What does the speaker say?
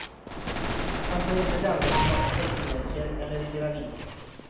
Passar inte den som har pacemaker eller är gravid.